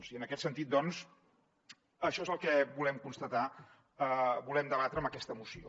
i en aquest sentit doncs això és el que volem constatar volem debatre amb aquesta moció